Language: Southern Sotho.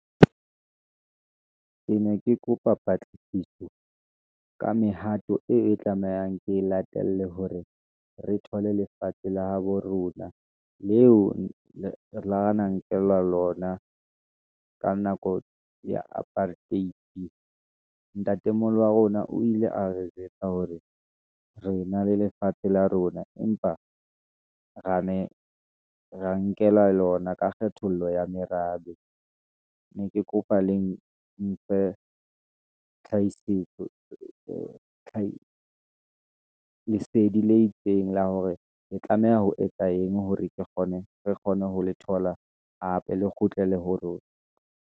Ke ne ke kopa patlisiso ka mehato eo e tlamehang, ke latele hore re thole lefatshe la habo rona, leo re na nkelwa lona, ka nako ya apartheid. Ntatemoholo wa rona o ile a re jwetsa hore, re na le lefatshe la rona, empa re ne ra nkela lona ka kgethollo ya merabe, Ne ke kopa le mphe tlhakisetso lesedi le itseng la hore, re tlameha ho etsa eng, hore re kgone ho le thola hape le kgutlele ho rona.